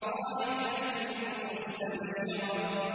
ضَاحِكَةٌ مُّسْتَبْشِرَةٌ